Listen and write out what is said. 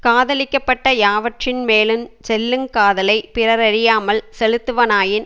காதலிக்கப்பட்ட யாவற்றின்மேலுஞ் செல்லுங் காதலை பிறரறியாமற் செலுத்துவனாயின்